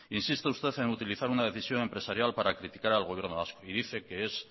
insiste usted en utilizar una decisión empresarial para criticar al gobierno vasco y dice que es